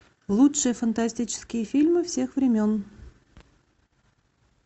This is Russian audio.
лучшие фантастические фильмы всех времен